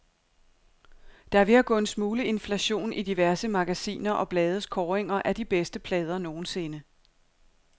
Der er ved at gå en smule inflation i diverse magasiner og blades kåringer af de bedste plader nogensinde.